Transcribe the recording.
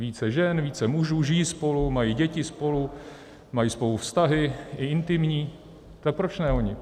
Více žen, více mužů, žijí spolu, mají děti spolu, mají spolu vztahy, i intimní - tak proč ne oni?